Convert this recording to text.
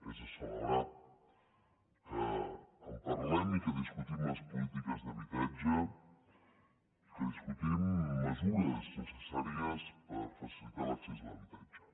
és de celebrar que en parlem i que discutim les polítiques d’habitatge que discutim mesures necessàries per facilitar l’accés a l’habitatge